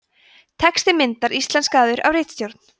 texti myndar íslenskaður af ritstjórn